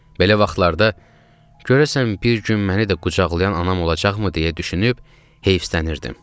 Belə vaxtlarda görəsən bir gün məni də qucaqlayan anam olacaqmı deyə düşünüb heyfslənirdim.